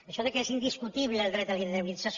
això que és indiscutible el dret a la indemnització